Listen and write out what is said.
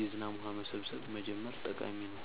የዝናብ ውሃ መሰብሰብ መጀመር ጠቃሚ ነው።